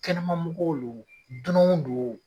Kɛnɛma mɔgɔw lo o dunanw do o.